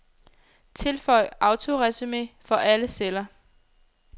Tilføj autoresumé for alle celler.